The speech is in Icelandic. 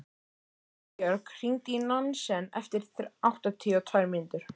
Elínbjörg, hringdu í Nansen eftir áttatíu og tvær mínútur.